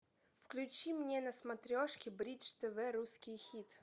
включи мне на смотрешке бридж тв русский хит